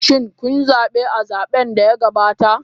Shin kun zabe a zaben da ya gabata?